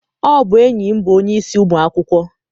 Ọ bụ enyi m bụ onye isi ụmụ akwụkwọ.